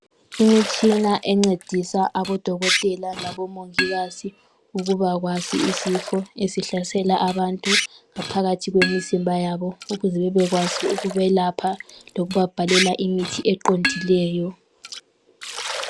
Imitshina encedisa abodokotela labomongikazi ukubakwazi izifo ezihlasela abantu ngaphakathi kwemizimba yabo ukuze babekwazi ukubelapha lokubabhalela imithi eqondileyo.